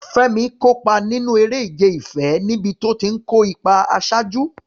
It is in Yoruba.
Fẹ́mi kópa nínú eré ìfẹ́ níbi tó ti ń kó ipa àṣáájú.